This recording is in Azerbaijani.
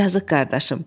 Yazıq qardaşım.